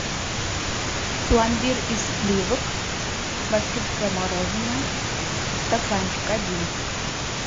пломбир из сливок башкирское мороженое стаканчик один